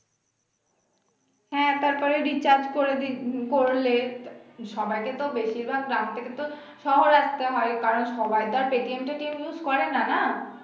হ্যাঁ তারপরে recharge করে দি উম করলে সবাইকে তো বেশির ভাগ গ্রাম থেকে তো শহর আসতে হয় কারণ সবার তো আর পেটিম টাকে use করেনা না